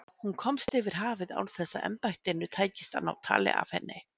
Hún komst yfir hafið án þess að embættinu tækist að ná tali af henni.